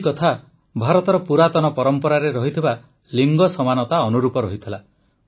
ଏହି କଥା ଭାରତର ପୁରାତନ ପରମ୍ପରାରେ ରହିଥିବା ଲିଙ୍ଗ ସମାନତା ଅନୁରୂପ ଥିଲା